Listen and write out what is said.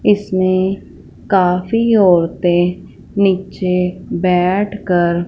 इसमें काफ़ी औरतें नीचे बैठकर--